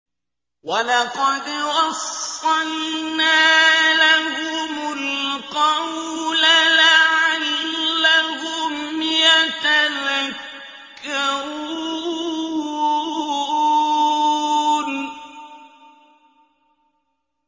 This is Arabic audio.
۞ وَلَقَدْ وَصَّلْنَا لَهُمُ الْقَوْلَ لَعَلَّهُمْ يَتَذَكَّرُونَ